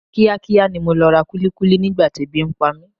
Kíá kíá ni mo lọ ra kúlíkúlí nígbà tí ebi ń pa mi.